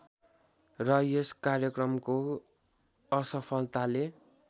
र यस कार्यक्रमको असफलताले